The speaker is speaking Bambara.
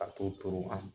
A t'o turu an